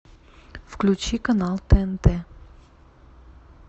включи канал тнт